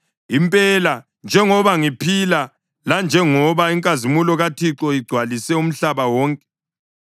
Impela njengoba ngiphila, lanjengoba inkazimulo kaThixo igcwalise umhlaba wonke,